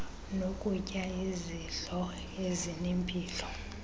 nokutya izidlo ezinempilo